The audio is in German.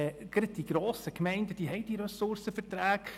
Gerade die grossen Gemeinden haben diese Ressourcenverträge.